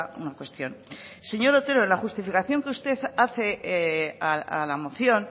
una cuestión señor otero en la justificación que usted hace a la moción